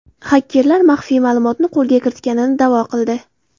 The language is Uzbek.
Xakerlar maxfiy ma’lumotni qo‘lga kiritganini da’vo qildi.